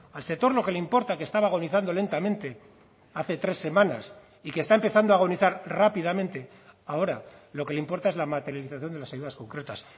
al sector lo que le importa que estaba agonizando lentamente hace tres semanas y que está empezando a agonizar rápidamente ahora lo que le importa es la materialización de las ayudas concretas